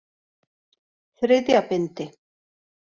Þriðja bindi.